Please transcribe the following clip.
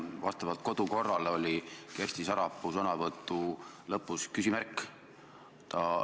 Vastavalt kodukorrale oli Kersti Sarapuu sõnavõtu lõpus küsimärk.